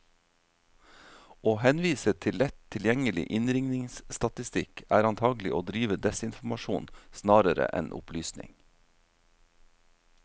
Å henvise til lett tilgjengelig innringningsstatistikk, er antagelig å drive desinformasjon snarere enn opplysning.